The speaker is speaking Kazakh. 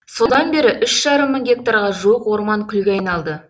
содан бері үш жарым мың гектарға жуық орман күлге айналды